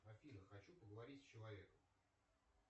афина хочу поговорить с человеком